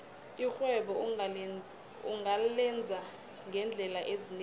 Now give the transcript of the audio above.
irhwebo ungalenza ngeendlela ezinengi